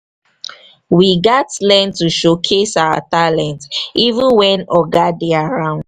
we gats learn to showcase our talents even wen "oga" dey around.